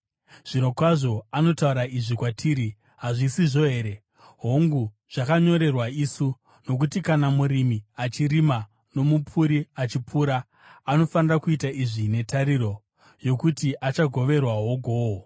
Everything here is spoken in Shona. Zvirokwazvo anotaura izvi kwatiri, hazvisizvo here? Hongu, zvakanyorerwa isu, nokuti kana murimi achirima, nomupuri achipura, anofanira kuita izvi netariro yokuti achagoverwawo gohwo.